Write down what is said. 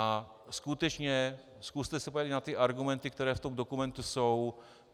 A skutečně, zkuste se podívat na ty argumenty, které v tom dokumentu jsou.